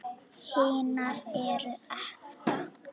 Hinar eru ekta.